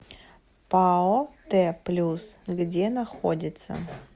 пао т плюс где находится